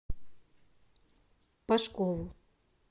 пашкову